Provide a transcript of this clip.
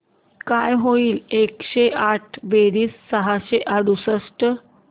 काय होईल एकशे आठ बेरीज सहाशे अडुसष्ट